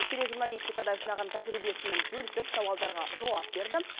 тележурналистикада жинаған тәжірибесімен бөлісіп сауалдарға жауап берді